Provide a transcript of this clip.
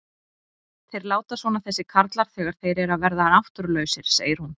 Þeir láta svona þessir karlar þegar þeir eru að verða náttúrulausir, segir hún.